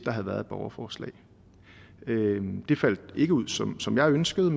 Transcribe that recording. havde været et borgerforslag det faldt ikke ud som som jeg ønskede